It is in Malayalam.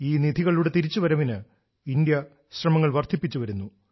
ഈ നിധികളുടെ തിരിച്ചുവരവിന് ഇന്ത്യ തന്റെ ശ്രമങ്ങൾ വർദ്ധിപ്പിച്ചു വരുന്നു